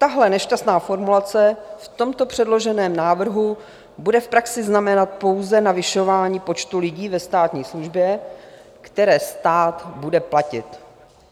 Tahle nešťastná formulace v tomto předloženém návrhu bude v praxi znamenat pouze navyšování počtu lidí ve státní službě, které stát bude platit.